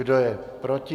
Kdo je proti?